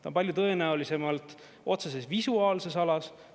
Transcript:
Ta on palju tõenäolisemalt otseses visuaalses alas.